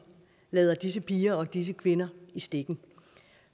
lader disse piger og disse kvinder i stikken